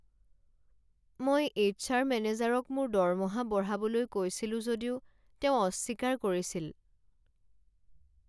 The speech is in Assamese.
মই এইছ আৰ মেনেজাৰক মোৰ দৰমহা বঢ়াবলৈ কৈছিলোঁ যদিও তেওঁ অস্বীকাৰ কৰিছিল।